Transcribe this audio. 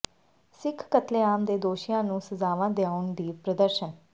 ਸਿੱਖ ਕਤਲੇਆਮ ਦੇ ਦੋਸ਼ੀਆਂ ਨੂੰ ਸਜ਼ਾਵਾਂ ਦੁਆਉਣ ਲਈ ਪ੍ਰਦਰਸ਼ਨ